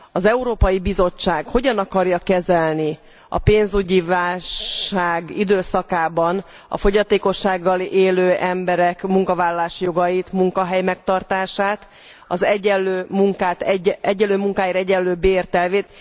Az Európai Bizottság hogyan akarja kezelni a pénzügyi válság időszakában a fogyatékossággal élő emberek munkavállalási jogait, munkahelymegtartását, az egyenlő munkáért egyenlő bért elvét.